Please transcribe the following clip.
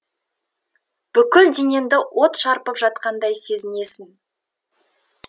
бүткіл денеңді от шарпып жатқандай сезінесің